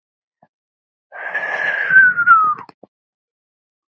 Til hvers lifir maður?